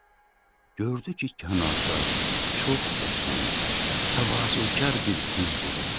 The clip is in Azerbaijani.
Gördü ki, kənarda çox qəşəng, təvazökar bir qız durub.